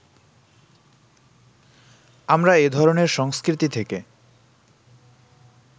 আমরা এ ধরণের সংস্কৃতি থেকে